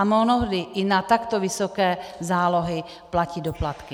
A mnohdy i na takto vysoké zálohy platí doplatky.